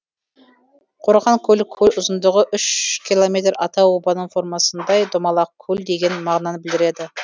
қорғанкөл көл ұзындығы үш километр атау обаның формасындай домалақ көл деген мағынаны білдіреді